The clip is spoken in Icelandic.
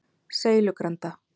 Seilugranda